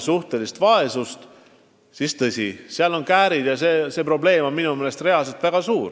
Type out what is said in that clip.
suhtelise vaesuse määra, siis ilmneb suur probleem.